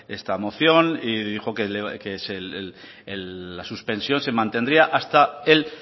esta moción y dijo que la suspensión se mantendría hasta el